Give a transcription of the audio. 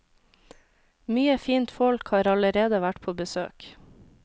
Mye fint folk har allerede vært på besøk.